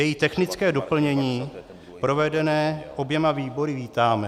Její technické doplnění provedené oběma výbory vítáme.